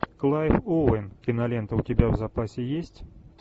клайв оуэн кинолента у тебя в запасе есть